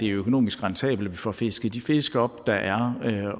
økonomisk rentabelt at få fisket de fisk op der er